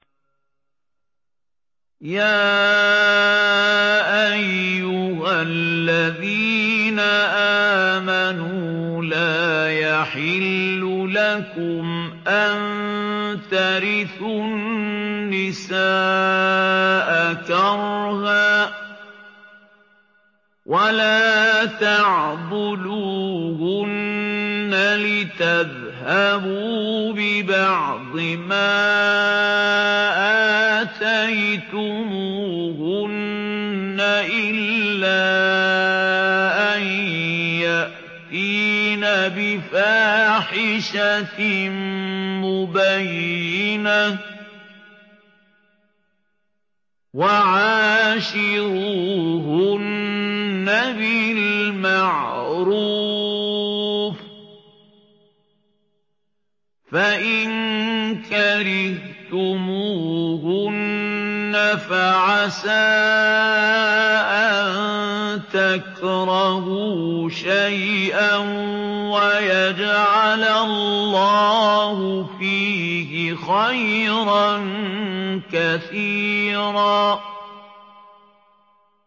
يَا أَيُّهَا الَّذِينَ آمَنُوا لَا يَحِلُّ لَكُمْ أَن تَرِثُوا النِّسَاءَ كَرْهًا ۖ وَلَا تَعْضُلُوهُنَّ لِتَذْهَبُوا بِبَعْضِ مَا آتَيْتُمُوهُنَّ إِلَّا أَن يَأْتِينَ بِفَاحِشَةٍ مُّبَيِّنَةٍ ۚ وَعَاشِرُوهُنَّ بِالْمَعْرُوفِ ۚ فَإِن كَرِهْتُمُوهُنَّ فَعَسَىٰ أَن تَكْرَهُوا شَيْئًا وَيَجْعَلَ اللَّهُ فِيهِ خَيْرًا كَثِيرًا